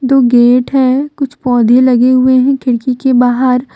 दो गेट है कुछ पौधे लगे हुए हैं खिड़की के बाहर।